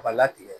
Ka latigɛ